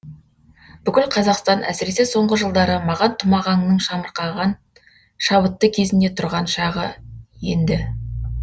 бүкіл қазақстан әсіресе соңғы жылдары маған тұмағаңның шамырқаған шабытты кезінде тұрған шағы енді